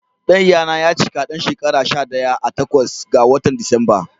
Ɗan ya na ya cika ɗan shekara shaɗaya a takwas ga watan Disamba.